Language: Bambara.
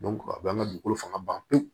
a b'an ka dugukolo fanga ban pewu